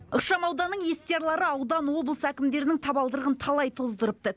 ықшамауданның естиярлары аудан облыс әкімдерінің табалдырығын талай тоздырыпты